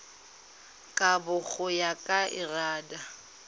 kabo go ya ka lrad